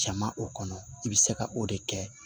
Cɛman o kɔnɔ i bɛ se ka o de kɛ